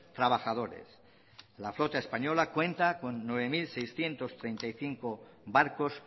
trabajadores la flota española cuenta con nueve mil seiscientos treinta y cinco barcos